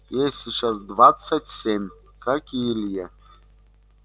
ей сейчас двадцать семь как и илье